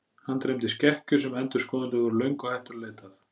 Hann dreymdi skekkjur sem endurskoðendur voru löngu hættir að leita að.